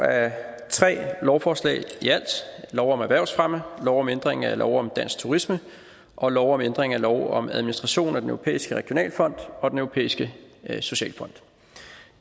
af tre lovforslag i alt lov om erhvervsfremme lov om ændring af lov om dansk turisme og lov om ændring af lov om administration af den europæiske regionalfond og den europæiske socialfond